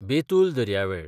बेतूल दर्यावेळ